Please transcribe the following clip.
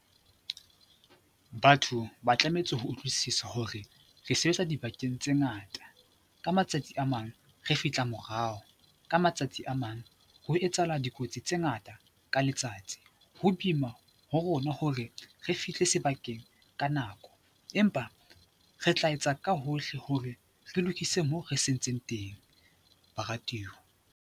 Batho ba tlametse ho utlwisisa hore re sebetsa dibakeng tse ngata, ka matsatsi a mang re fihla morao, ka matsatsi a mang ho etsahala dikotsi tse ngata ka letsatsi, ho boima ho rona hore re fihle sebakeng ka nako, empa re tla etsa ka hohle hore re lokise moo re sentseng teng, baratiwa.